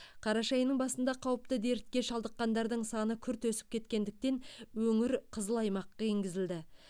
қараша айының басында қауіпті дертке шалдыққандардың саны күрт өсіп кеткендіктен өңір қызыл аймаққа енгізілді